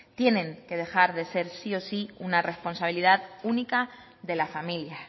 tienen que dejar de ser sí o sí una responsabilidad única de la familia